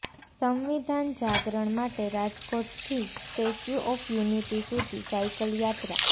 સંવિધાન જાગરણ માટે રાજકોટથી સ્ટેચ્યુ ઓફ યુનિટી સુધી સાયકલ યાત્રા